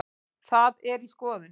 Það er í skoðun.